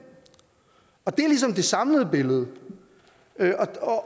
det er ligesom det samlede billede